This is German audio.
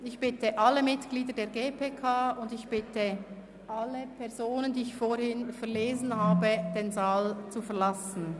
Ich bitte alle Mitglieder der GPK und ich bitte alle Personen, deren Namen ich vorhin verlesen habe, den Saal zu verlassen.